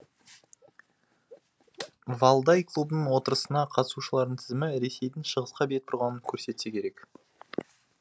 валдай клубының отырысына қатысушылардың тізімі ресейдің шығысқа бет бұрғанын көрсетсе керек